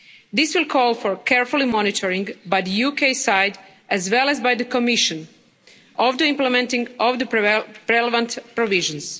This will call for careful monitoring by the UK side as well as by the Commission of the implementing of the relevant provisions.